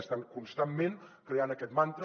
estan constantment creant aquest mantra